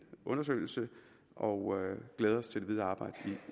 undersøgelse og glæder os til det videre arbejde i